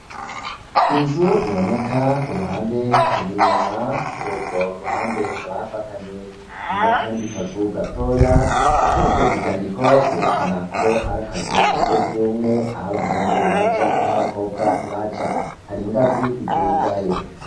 Inzu iboneka uruhande gw'inyuma kurugworuhande hakaba hafatanye nakazu gatoya kariko ivyandiko vyerekana ko ari akazu kasugumwe aho abahungu baja naho abakobwa baja, hari ingazi idugayo.